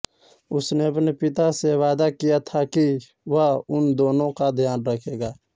उसने अपने पिता से वादा किया था कि वह उन दोनो का ध्यान रखेगा